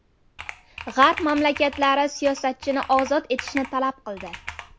G‘arb mamlakatlari siyosatchini ozod etishni talab qildi.